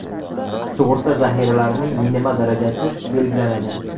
Sug‘urta zaxiralarining minimal darajasi belgilanadi.